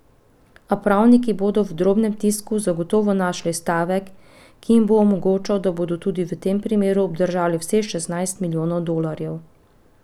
A pravniki bodo v drobnem tisku zagotovo našli stavek, ki jim bo omogočal, da bodo tudi v tem primeru obdržali vseh šestnajst milijonov dolarjev.